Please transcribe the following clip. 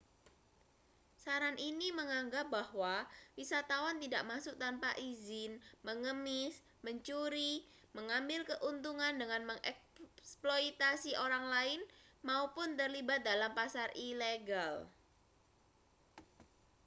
saran ini menganggap bahwa wisatawan tidak masuk tanpa izin mengemis mencuri mengambil keuntungan dengan mengeksploitasi orang lain maupun terlibat dalam pasar ilegal